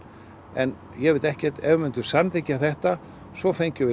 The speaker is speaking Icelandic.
en ég veit ekkert ef við myndum samþykkja þetta svo fengjum við